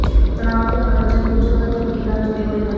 ਤਣਾਅ ਅਤੇ ਮਨੋਰੰਜਨ ਗੁੰਝਲਦਾਰ ਤਰੀਕੇ ਨਾਲ ਜੁੜੇ ਹੋਏ ਹਨ